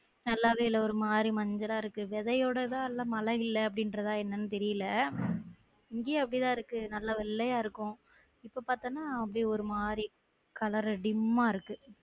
நல்லாவே இல்ல ஒரு மாறி மஞ்சள்லா இருக்கு விதையோடதா நல்ல மழை இல்ல அப்டிங்குறதா என்னன்னு தெரில இங்கையும் அப்டிதான் இருக்கு நல்லா வெள்ளையா இருக்கும் இப்ப பாத்தோம்னா அப்பிடியே ஒரு மாறி color dim ஆ இருக்கு